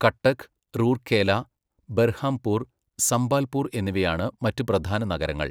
കട്ടക്ക്, റൂർക്കേല, ബെർഹാംപൂർ, സംബാൽപൂർ എന്നിവയാണ് മറ്റ് പ്രധാന നഗരങ്ങൾ.